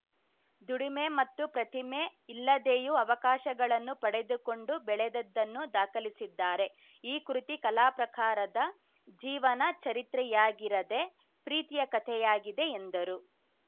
ದುಡಿಮೆ ಮತ್ತು ಪ್ರತಿಮೆ ಇಲ್ಲದೆಯೂ ಅವಕಾಶಗಳನ್ನು ಪಡೆದುಕೊಂಡು ಬೆಳೆದದ್ದನ್ನು ದಾಖಲಿಸಿದ್ದಾರೆ ಈ ಕೃತಿ ಕಲಾ ಪ್ರಕಾರದ ಜೀವನ ಚರಿತ್ರೆಯಾಗಿರದೆ ಪ್ರೀತಿಯ ಕಥೆಯಾಗಿದೆ ಎಂದರು